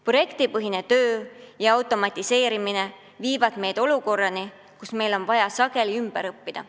Projektipõhine töö ja automatiseerimine viivad meid olukorrani, kus inimestel on vaja sageli ümber õppida.